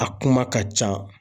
A kuma ka can.